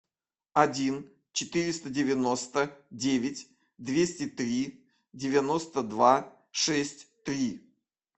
один четыреста девяносто девять двести три девяносто два шесть три